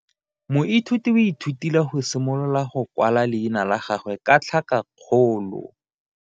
Moithuti o ithutile go simolola go kwala leina la gagwe ka tlhakakgolo.